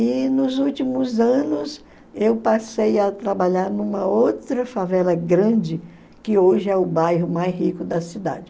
E nos últimos anos eu passei a trabalhar numa outra favela grande, que hoje é o bairro mais rico da cidade.